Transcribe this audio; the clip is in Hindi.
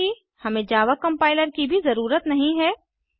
साथ ही हमें जावा कम्पाइलर की भी जररूत नहीं है